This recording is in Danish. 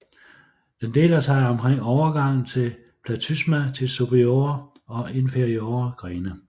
Den deler sig omkring overgangen til platysma til superiore og inferiore grene